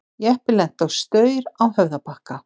Jeppi lenti á staur á Höfðabakka